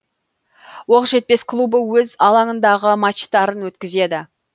оқжетпес клубы өз алаңындағы матчтарын өткізеді